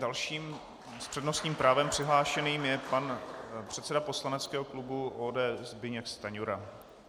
Další s přednostním právem přihlášeným je pan předseda poslaneckého klubu ODS Zbyněk Stanjura.